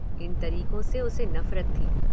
इन तरीकों से उसे नफ़रत थी।